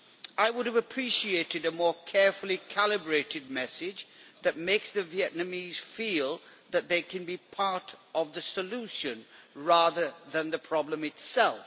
I would have appreciated a more carefully calibrated message that makes the Vietnamese feel that they can be part of the solution, rather than the problem itself.